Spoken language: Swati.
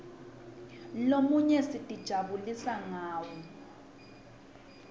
lomunye sitijabulisa ngawo